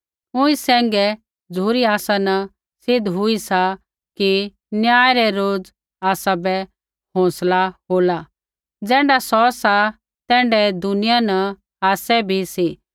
ऊँई सैंघै ही झ़ुरी आसा न सिद्ध हुई सा कि न्याय रै रोज़ आसाबै हौंसला हो ज़ैण्ढा सौ सा तैण्ढै ही दुनिया न आसै भी सी